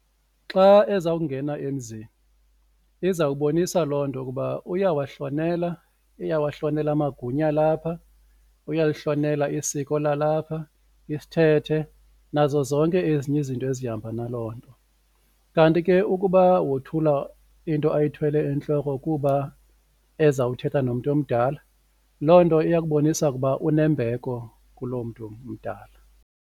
Xa ezawungena emzini izawubonisa loo nto ukuba uyawahlonela, uyawahlonela amagunya alapha, uyalihlonela isiko lalapha, isithethe nazo zonke ezinye izinto ezihamba na loo nto. Kanti ke ukuba wothula into ayithwele entloko kuba ezawuthetha nomntu omdala, loo nto iya kubonisa ukuba unembeko kuloo mntu mdala.